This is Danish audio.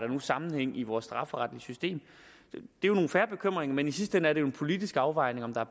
sammenhæng i vores strafferetlige system det er jo nogle fair bekymringer men i sidste ende er det jo en politisk afvejning om der